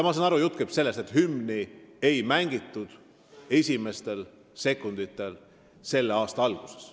Ma saan aru, et jutt käib sellest, et hümni ei mängitud esimestel sekunditel selle aasta alguses.